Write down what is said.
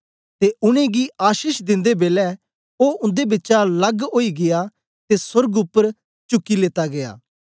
ते उनेंगी आशीष दिंदे बेलै ओ उन्दे बिचा लग ओई गीया ते सोर्ग उपर चुकी लीता गीया